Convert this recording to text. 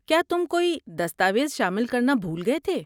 کیا تم کوئی دستاویز شامل کرنا بھول گئے تھے؟